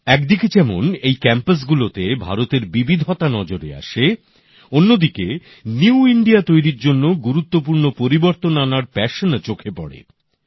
একদিকে যেমন এই ক্যাম্পাসগুলোতে ভারতের বিবিধতা নজরে আসে অন্যদিকে নতুন ভারত তৈরীর জন্য গুরুত্বপূর্ণ পরিবর্তন আনার ইচ্ছেও চোখে পড়ে